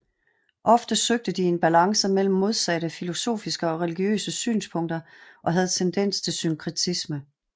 Ofte søgte de en balance mellem modsatte filosofiske og religiøse synspunkter og havde tendens til synkretisme